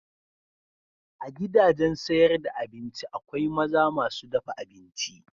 A gidajen sayar da abinci akwai maza masu dafa abinci.